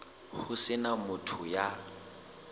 ho se na motho ya